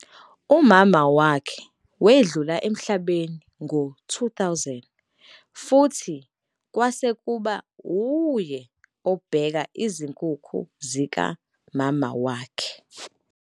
Umama wakhe wedlula emhlabeni ngo-2000 futhi kwase kuba uye obheka izinkukhu zikamama wakhe.